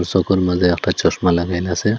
সকল মালে একটা চশমা লাগাইন আসে।